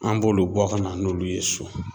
An b'olu bɔ ka na n'olu ye so.